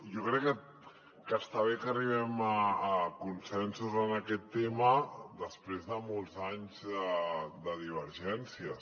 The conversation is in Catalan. jo crec que està bé que arribem a consensos en aquest tema després de molts anys de divergències